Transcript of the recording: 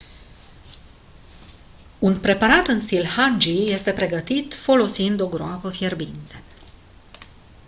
un preparat în stil hangi este pregătit folosind o groapă fierbinte